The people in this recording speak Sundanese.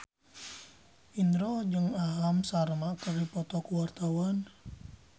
Indro jeung Aham Sharma keur dipoto ku wartawan